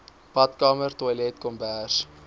badkamer toilet kombuis